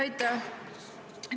Aitäh!